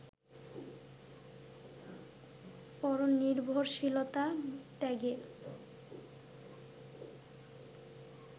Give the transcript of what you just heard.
পরনির্ভরশীলতা ত্যাগের